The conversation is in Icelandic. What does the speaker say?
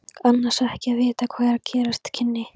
Annars ekki að vita hvað gerast kynni.